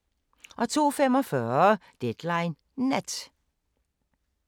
02:45: Deadline Nat